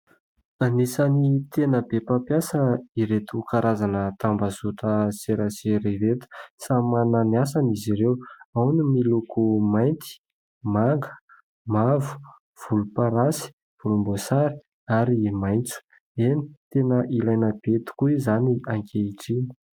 Anisany tena be mpampiasa ireto karazana tambazotra serasera ireto; samy manana ny asany izy ireo , ao ny miloko mainty ,manga ,mavo ,volom-parasy ,volom-boasary ary maitso .Eny tena ilaina be tokoa izany ankehitriny.